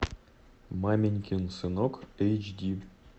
маменькин сынок эйч ди